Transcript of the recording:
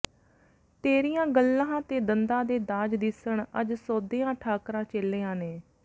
ਤੇਰੀਆਂ ਗੱਲ੍ਹਾਂ ਤੇ ਦੰਦਾਂ ਦੇ ਦਾਜ਼ ਦਿੱਸਣ ਅੱਜ ਸੋਧੀਆਂ ਠਾਕਰਾਂ ਚੇਲੀਆਂ ਨੇ